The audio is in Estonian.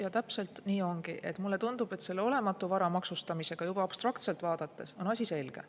Ja täpselt nii ongi, et mulle tundub, et selle olematu vara maksustamisega on juba abstraktselt vaadates asi selge.